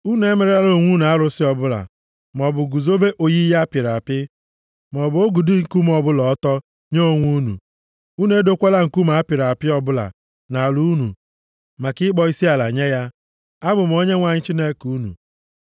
“ ‘Unu emerela onwe unu arụsị + 26:1 \+xt Ọpụ 20:4\+xt* ọbụla, maọbụ guzobe oyiyi apịrị apị, maọbụ ogidi nkume ọbụla ọtọ, nye onwe unu. Unu edokwala nkume a pịrị apị ọbụla nʼala unu maka ịkpọ isiala nye ya. Abụ m Onyenwe anyị Chineke unu.